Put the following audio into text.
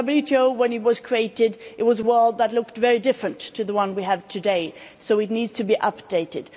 When the WTO was created the world looked very different to the one we have today, so it needs to be updated.